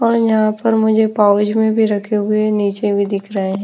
और यहाँ पर मुझे पाउच में भी रखे हुए हैं नीचे भी दिख रहा है ।